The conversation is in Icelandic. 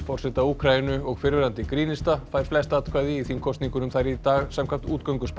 forseta Úkraínu og fyrrverandi grínista fær flest atkvæði í þingkosningunum þar í dag samkvæmt